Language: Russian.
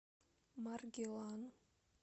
маргилан